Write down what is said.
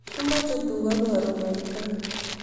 kimache tuka karon en Gaa